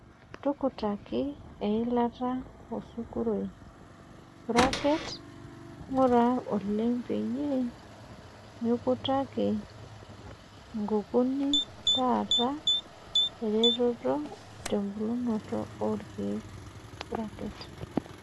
Tukutaki eilata osuguroi (ng'ura oleng peyie mikutaki nkukuni naata eretoto tembulunoto orkiek).